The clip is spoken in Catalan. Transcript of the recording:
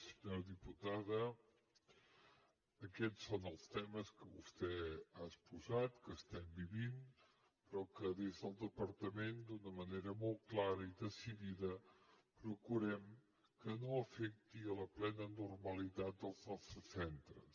senyora diputada aquests són els temes que vostè ha exposat que estem vivint però que des del departament d’una manera molt clara i decidida procurem que no afectin la plena normalitat dels nostres centres